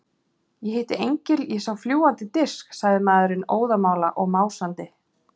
Ég hitti engil, ég sá fljúgandi disk, sagði maðurinn óðamála og másandi.